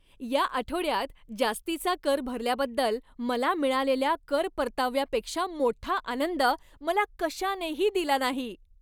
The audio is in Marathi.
या आठवड्यात जास्तीचा कर भरल्याबद्दल मला मिळालेल्या कर परताव्यापेक्षा मोठा आनंद मला कशानेही दिला नाही.